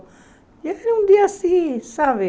E era um dia assim, sabe?